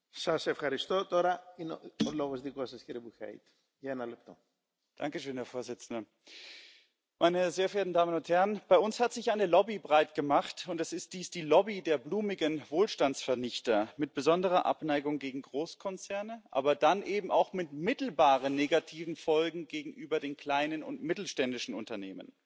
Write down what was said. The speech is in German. Herr Präsident, sehr geehrte Damen und Herren! Bei uns hat sich eine Lobby breitgemacht, und es ist dies die Lobby der blumigen Wohlstandsvernichter mit besonderer Abneigung gegen Großkonzerne, aber dann eben auch mit mittelbaren negativen Folgen gegenüber den kleinen und mittelständischen Unternehmen.